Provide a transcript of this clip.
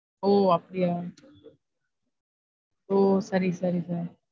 ஒ அப்டியா ஒ சரி சரி sir